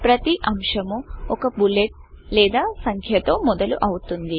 ప్రతి అంశము ఒక బులెట్ లేదా సంఖ్యతో మొదలు అవుతుంది